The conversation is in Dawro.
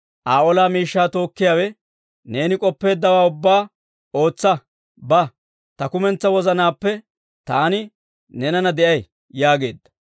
Aa ola miishshaa tookkiyaawe, «Neeni k'oppeeddawaa ubbaa ootsa; ba; ta kumentsaa wozanaappe taani neenana de'ay» yaageedda.